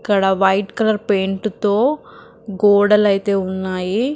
ఇక్కడ white colour paint తో గోడలైతే ఉన్నాయి --